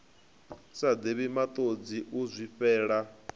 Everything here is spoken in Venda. sa divhi matodzi u zwifhela